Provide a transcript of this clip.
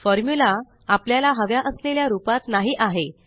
formula आपल्याला हव्या असलेल्या रूपात नाही आहे